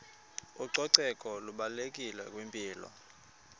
ucoceko lubalulekile kwimpilo